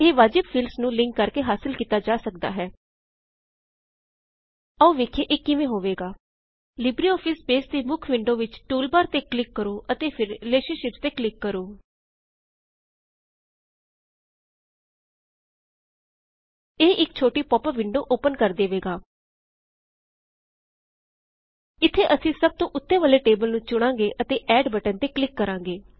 ਇਹ ਵਾਜਿਬ ਫੀਲਡਜ਼ ਨੂੰ ਲਿੰਕ ਕਰਕੇ ਹਾਸਲ ਕੀਤਾ ਜਾ ਸਕਦਾ ਹੈ ਆਓ ਵੇਖਿਯੇ ਇਰ ਕਿਂਵੇ ਹੋਏਗਾ ਲਿਬ੍ਰ ਔਫਿਸ ਬੇਸ ਦੀ ਮੁੱਖ ਵਿੰਡੇ ਵਿੱਚ ਟੁਲਬਾਰ ਤੇ ਕਲਿਕ ਕਰੋ ਅਤੇ ਫਿਰ ਰਿਲੇਸ਼ਨਸ਼ਿੱਪਸ ਤੇ ਕਲਿਕ ਕਰੋ 0ਇਹ ਇਕ ਛੋਟੀ ਪੌਪ ਅਪ ਵਿੰਡੇ ਓਪਨ ਕਰ ਦੇਵੇਗਾ ਇੱਥੇ ਅਸੀ ਸਬ ਤੋ ਓੱਤੇ ਵਾਲੇ ਟੇਬਲ ਨੂੰ ਚੁਣਾੰਗੇ ਅਤੇ ਐਡ ਬਟਨ ਤੇ ਕਲਿਕ ਕ ਰਾੰਗੇ